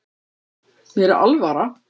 Mér er alvara